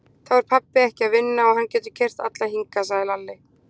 Þá er pabbi ekki að vinna og hann getur keyrt alla hingað, sagði Lalli.